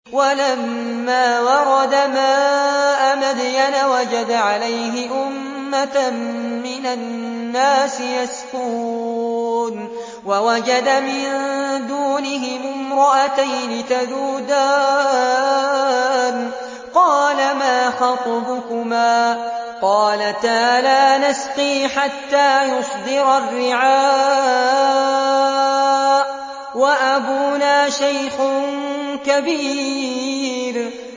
وَلَمَّا وَرَدَ مَاءَ مَدْيَنَ وَجَدَ عَلَيْهِ أُمَّةً مِّنَ النَّاسِ يَسْقُونَ وَوَجَدَ مِن دُونِهِمُ امْرَأَتَيْنِ تَذُودَانِ ۖ قَالَ مَا خَطْبُكُمَا ۖ قَالَتَا لَا نَسْقِي حَتَّىٰ يُصْدِرَ الرِّعَاءُ ۖ وَأَبُونَا شَيْخٌ كَبِيرٌ